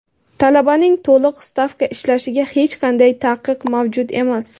talabaning to‘liq stavka ishlashiga hech qanday taqiq mavjud emas.